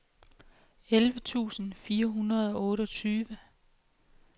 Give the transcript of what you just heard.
elleve tusind fire hundrede og otteogtyve